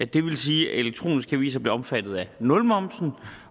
det vil sige at elektroniske aviser bliver omfattet af nulmomsen